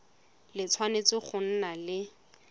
le tshwanetse go nna le